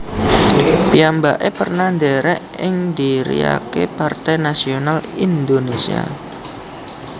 Piyambake pernah ndherek ing dhiriake Partai Nasional Indonesia